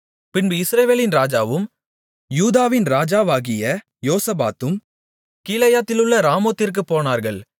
பின்பு இஸ்ரவேலின் ராஜாவும் யூதாவின் ராஜாவாகிய யோசபாத்தும் கீலேயாத்திலுள்ள ராமோத்திற்குப் போனார்கள்